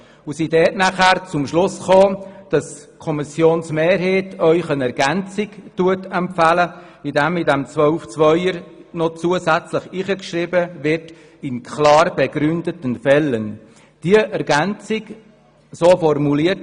Wir sind zum Schluss gekommen, dass die Kommissionsmehrheit Ihnen eine Ergänzung empfiehlt, indem Artikel 12 Absatz 2 zusätzlich um den Passus «in klar begründeten Fällen» ergänzt wird.